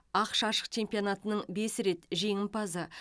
ақш ашық чемпионатының бес рет жеңімпазы